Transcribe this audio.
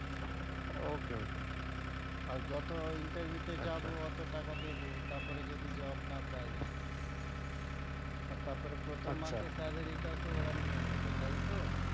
okay okay আর যত interview তে যাবো অতো টাকা দিয়ে তারপরে যদি job না পাই আর তারপরে প্রথম মাসে salary টা ও তো ওরা নিয়ে নেবে তাইতো?